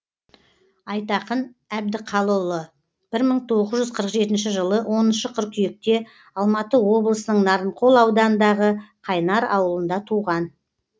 айтақын әбдіқалұлы бір мың тоғыз жүз қырық жетінші жылы оныншы қыркүйекте алматы облысының нарынқол ауданындағы қайнар ауылында туған